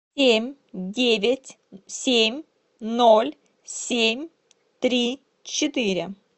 семь девять семь ноль семь три четыре